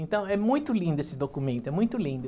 Então, é muito lindo esse documento, é muito lindo.